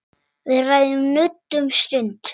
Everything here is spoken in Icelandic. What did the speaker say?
Við ræðum nudd um stund.